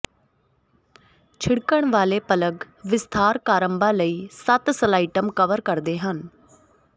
ਛਿੜਕਣ ਵਾਲੇ ਪਲੱਗ ਵਿਸਥਾਰ ਕਾਰਡਾਂ ਲਈ ਸੱਤ ਸਲਾਈਟਸ ਕਵਰ ਕਰਦੇ ਹਨ